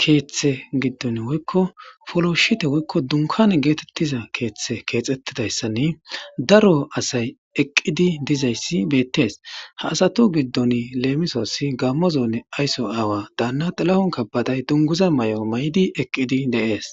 kethe gidon woyko polshipe woyko dunkane getetiza keethe kexetides, kexetidaysanne eqidi dizays beetesi, ah asati giddoni lemisos gamo zone ayso awa Dana xilahun kebedey eqidi de'esi.